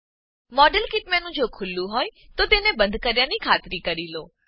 model kit menu જો ખુલ્લું હોય તો તેને બંધ કર્યાની ખાતરી કરી લો